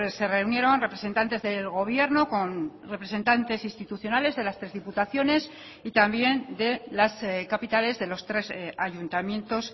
se reunieron representantes del gobierno con representantes institucionales de las tres diputaciones y también de las capitales de los tres ayuntamientos